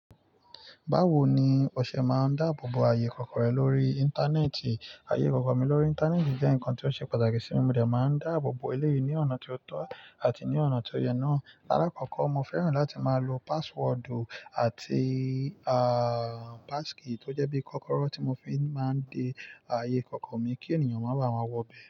Báwo ni o ṣe má dá àbòbò ayé ìkọ̀kọ̀ rẹ lórí íntaneétìí. Ayé ìkọ̀kọ̀ mi lórí internet jẹ́ ǹkan tí ó ṣe pàtàkì sí mi, mo dé máa ń dá àbòbò eléyí ní ọ̀nà tí ó tọ́ àti ní ọ̀nà tí ó yẹ náà. Lákoko mo fẹ́ràn láti máa lò passwordu àti ah passkey tó jẹ́ bí kókóró tí mo fi máa ń dé ayé ìkọ̀kọ̀ mi kí ènìyàn máa bá wá wo bẹ́.